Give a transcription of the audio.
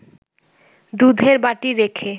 দুধের বাটি রেখে